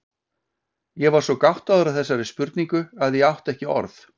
Ég var svo gáttaður á þessari spurningu að ég átti ekki orð.